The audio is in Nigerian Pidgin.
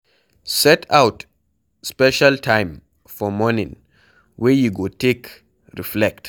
Set out special time for morning wey you go take reflect